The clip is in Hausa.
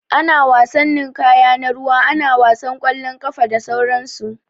Ana wasan ninƙaya na ruwa, ana wasan ƙwalon ƙafa, da sauran su.